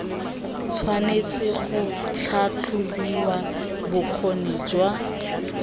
tshwanetse ga tlhatlhobiwa bokgoni jwa